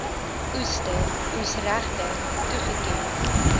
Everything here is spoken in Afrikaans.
oester oesregte toegeken